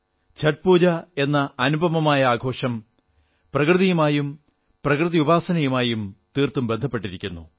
ഛഠ് പൂജ എന്ന അനുപമമായ ആഘോഷം പ്രകൃതിയുമായും പ്രകൃതി ഉപസാനയുമായും തീർത്തും ബന്ധപ്പെട്ടിരിക്കുന്നു